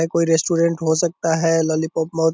ये कोई रेस्टोरेंट हो सकता है लॉली पॉप बहुत --